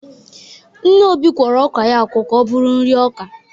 Nne Obi kwọrọ ọka ya akwọ ka ọ bụrụ nri ọka.